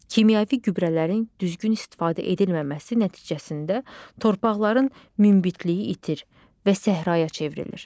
Kimyəvi gübrələrin düzgün istifadə edilməməsi nəticəsində torpaqların münbitliyi itir və səhraya çevrilir.